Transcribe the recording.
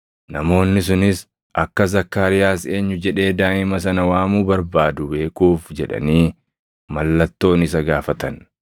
Namoonni sunis akka Zakkaariyaas eenyu jedhee daaʼima sana waamuu barbaadu beekuuf jedhanii mallattoon isa gaafatan.